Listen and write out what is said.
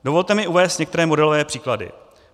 Dovolte mi uvést některé modelové příklady.